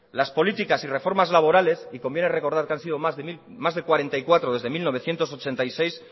las políticas y reformas laborales y conviene recordar que han sido más de cuarenta y cuatro desde mil novecientos ochenta y seis